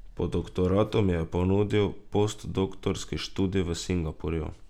Po doktoratu mi je ponudil postdoktorski študij v Singapurju.